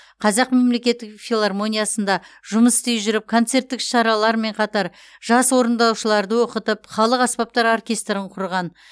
қазақ мемлекеттік филармониясында жұмыс істей жүріп концерттік іс шаралармен қатар жас орындаушыларды оқытып халық аспаптар оркестрін құрған